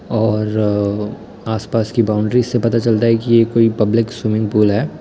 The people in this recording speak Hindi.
और आस पास की बाउंड्रीस से पता चलता हैं की ये कोई पब्लिक स्विमिंग पूल है।